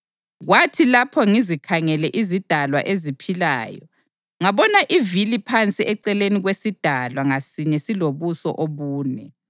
Kwathi lapho ngizikhangele izidalwa eziphilayo, ngabona ivili phansi eceleni kwesidalwa ngasinye silobuso obune.